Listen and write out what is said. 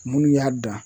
Munnu y'a dan